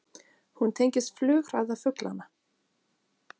Hún tengist flughraða fuglanna.